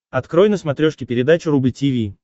открой на смотрешке передачу рубль ти ви